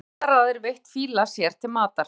Menn hafa í aldaraðir veitt fíla sér til matar.